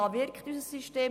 dort wirkt unser System.